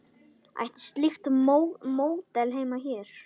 Ætti slíkt módel heima hér?